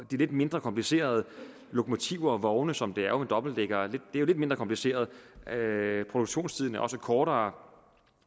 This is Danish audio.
de lidt mindre komplicerede lokomotiver og vogne som det jo dobbeltdækkere det er lidt mindre kompliceret produktionstiden er også kortere